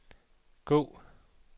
gå